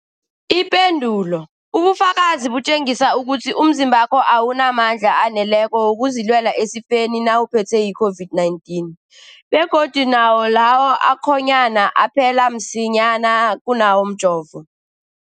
Ipendulo, ubufakazi butjengisa ukuthi umzimbakho awunamandla aneleko wokuzilwela esifeni nawuphethwe yi-COVID-19, begodu nawo lawo akhonyana aphela msinyana kunawomjovo.